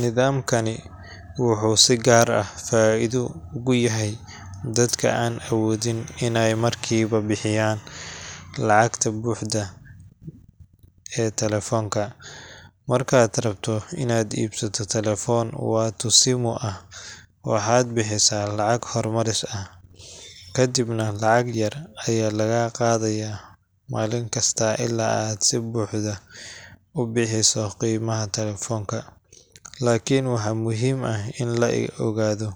Nidaamkani wuxuu si gaar ah faa’iido ugu yahay dadka aan awoodin inay markiiba bixiyaan lacagta buuxda ee telefoonka. Markaad rabto inaad iibsato taleefon Watu Simu ah, waxaad bixisaa lacag hormaris ah, kadibna lacag yar ayaa lagaa qaadaa maalin kasta ilaa aad si buuxda u bixiso qiimaha taleefanka. Laakiin waxaa muhiim ah in la ogaado: